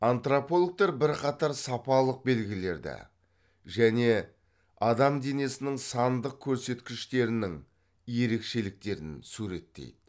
антропологтар бірқатар сапалық белгілерді және адам денесінің сандық көрсеткіштерінің ерекшеліктерін суреттейді